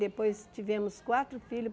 Depois tivemos quatro filhos.